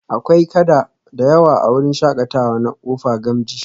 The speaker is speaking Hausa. Akwai kada da yawa a wurin shakatawa na kofa gamji